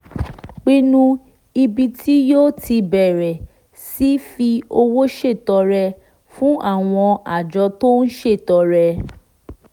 pinnu ibi tí yóò ti bẹ̀rẹ̀ sí fi owó ṣètọrẹ fún àwọn àjọ tó ń ṣètọrẹ